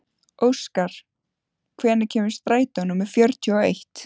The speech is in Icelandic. Óskar, hvenær kemur strætó númer fjörutíu og eitt?